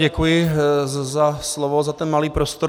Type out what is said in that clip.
Děkuji za slovo, za ten malý prostor.